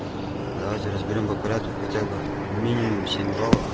давайте разберём по порядку хотя бы минимум семь жалоб